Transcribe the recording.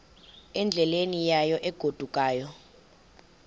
endleleni yayo egodukayo